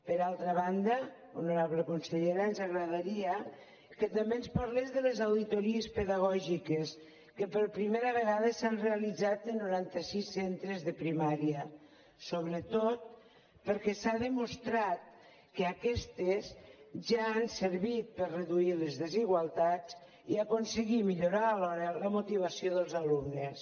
per altra banda honorable consellera ens agradaria que també ens parlés de les auditories pedagògiques que per primera vegada s’han realitzat a noranta sis centres de primària sobretot perquè s’ha demostrat que aquestes ja han servit per reduir les desigualtats i aconseguir millorar alhora la motivació dels alumnes